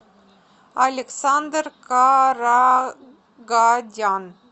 александр карагадян